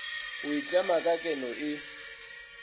go itlema ka keno e